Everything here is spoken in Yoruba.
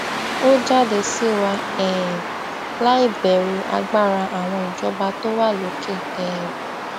ó jáde sí wa um láì bẹrù agbára àwọn ìjọba tó wà lókè um